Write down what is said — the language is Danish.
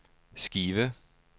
Skive